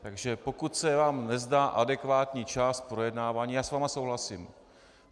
Takže pokud se vám nezdá adekvátní čas projednávání, já s vámi souhlasím.